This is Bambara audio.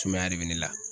Sumaya de bɛ ne la